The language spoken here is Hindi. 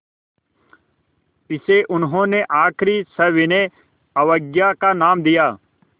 इसे उन्होंने आख़िरी सविनय अवज्ञा का नाम दिया